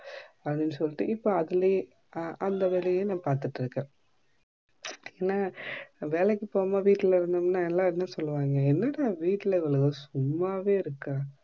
அப்டினு சொல்லிட்டு இப்போ அதுலயே அந்த வேலையும் நா பாத்துட்டு இருக்கன் என்ன வேலைக்கு பாவமா வீட்டுலே இத்தோம்னா என்ன சொல்லுவாங்க என்னடா இவ வீட்டுல சும்மாவே இருக்கா